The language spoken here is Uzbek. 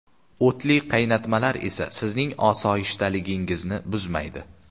O‘tli qaynatmalar esa sizning osoyishtaligingizni buzmaydi.